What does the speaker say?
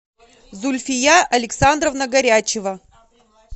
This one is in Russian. зульфия александровна горячева